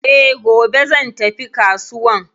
E, gobe zai tafi kasuwan